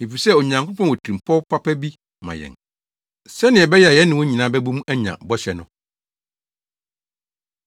efisɛ Onyankopɔn wɔ tirimupɔw papa bi ma yɛn, sɛnea ɛbɛyɛ a yɛne wɔn nyinaa bɛbɔ mu anya bɔhyɛ no.